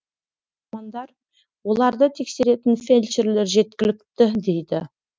мамандар оларды тексеретін фельдшерлер жеткілікті дейді